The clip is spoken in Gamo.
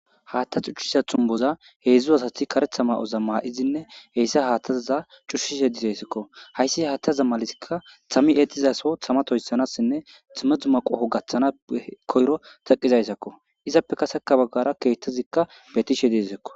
haatta cuccisa thunboza heedzdzu asathi karetha ma7oza maa7izinne heyssa haattazaza cushishhe disayssakko hayssi haatta zammalisikka thammi eexizaso tamatoyssanassinne timedhu maqoho gaththana koyro taqizayssakko izappekaseka baggara keettazikka betishe deesakko